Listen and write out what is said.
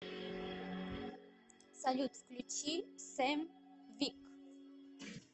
салют включи сэм вик